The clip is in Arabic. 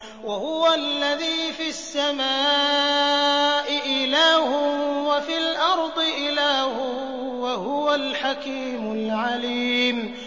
وَهُوَ الَّذِي فِي السَّمَاءِ إِلَٰهٌ وَفِي الْأَرْضِ إِلَٰهٌ ۚ وَهُوَ الْحَكِيمُ الْعَلِيمُ